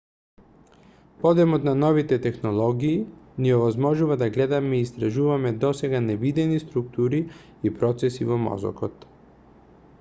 подемот на новите технологии ни овозможува да гледаме и истражуваме досега невидени структури и процеси во мозокот